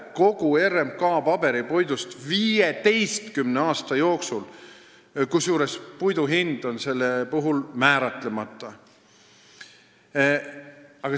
– kogu RMK paberipuidust 15 aasta jooksul, kusjuures puidu hind on määratlemata.